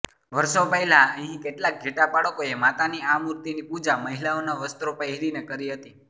વર્ષો પહેલા અહીં કેટલાક ઘેટાપાળકોએ માતાની આ મૂર્તિની પૂજા મહિલાઓના વસ્ત્રો પહેરીને કરી હતી